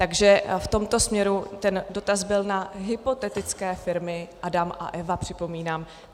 Takže v tomto směru ten dotaz byl na hypotetické firmy Adam a Eva, připomínám.